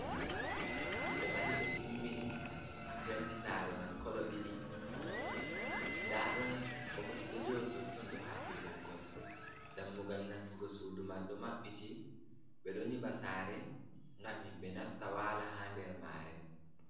Ɓe mahi ɓe timmini, penti saare man kolo ɗiɗi, ndaa ɗon bokoti ɗo jooɗi totton, ɗo haɓɓi ɓoggol. Dammugal nastigo suudu man ɗo maɓɓiti. Ɓe ɗo nyiɓa saare, ngam himɓe nasta waala, haa nder maare.